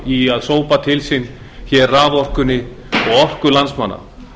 í að sópa til sín raforkunni og orku landsmanna